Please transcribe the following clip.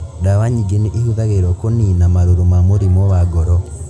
Ndawa nyingĩ nĩ ihũthagĩrũo kũniina marũrũ ma mũrimũ wa ngoro.